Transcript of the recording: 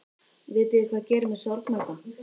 Vitiði hvað gerir mig sorgmæddan?